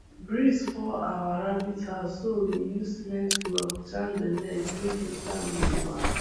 breeze fall our rabbit house so we use cement block jam the leg make e stand gidigba